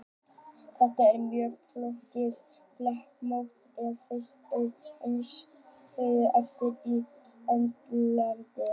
Þetta eru mjög flókin flekamót, og hlykkjast þau eins og snákur eftir Ítalíu endilangri.